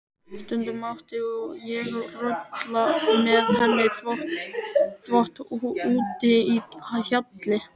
Stundum mátti ég rulla með henni þvott úti í hjalli.